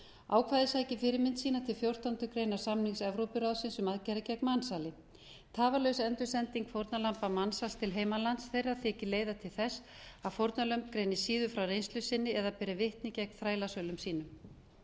ákvæðið sækir fyrirmynd sína til fjórtándu greinar samnings evrópuráðsins um aðgerðir gegn mansali tafarlaus endursending fórnarlamba mansals til heimalands þeirra þykir leiða til þess að fórnarlömb greini síður frá reynslu sinni eða beri vitni gegn þrælasölum sínum